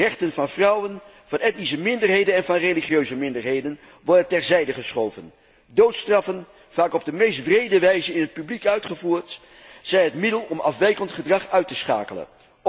Rechten van vrouwen, van etnische minderheden en van religieuze minderheden worden terzijde geschoven, doodstraffen vaak op de meest wrede wijze in het openbaar uitgevoerd, als middel om afwijkend gedrag uit te schakelen.